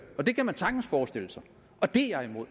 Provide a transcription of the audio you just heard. og det kan man sagtens forestille sig og det er jeg imod